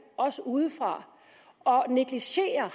også udefra og negligere